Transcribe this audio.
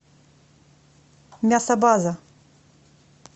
мясобаза